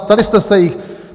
Ptali jste se jich?